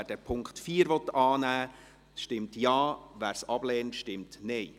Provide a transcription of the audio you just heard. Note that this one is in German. Wer den Punkt 4 annehmen will, stimmt Ja, wer diesen ablehnt, stimmt Nein.